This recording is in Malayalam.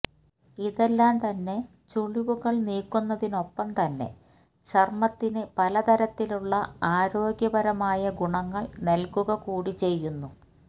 ഇതെല്ലാം തന്നെ ചുളിവുകള് നീക്കുന്നതിനൊപ്പം തന്നെ ചര്മത്തിന് പല തരത്തിലെ ആരോഗ്യപരമായ ഗുണങ്ങള് നല്കുക കൂടി ചെയ്യുന്നു